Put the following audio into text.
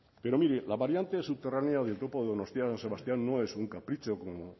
pero mire la variante subterránea del topo de donostia san sebastián no es un capricho como